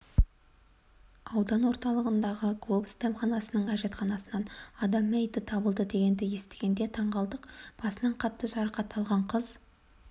аудан орталығындағы глобус дәмханасының әжетханасынан адам мәйіті табылды дегенді естігенде таңқалдық басынан қатты жарақат алған қыз